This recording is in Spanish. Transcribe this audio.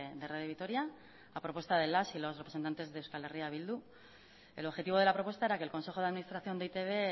de radio vitoria a propuesta de las y los representantes de euskal herria bildu el objetivo de la propuesta era que el consejo de administración de e i te be